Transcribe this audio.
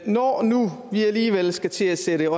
når nu vi alligevel skal til at sætte